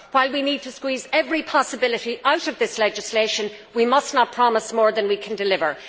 While we need to squeeze every possibility out of this legislation, we must not promise more than we can deliver.